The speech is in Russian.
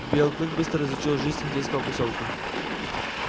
белый клык быстро изучил жизнь индейского посёлка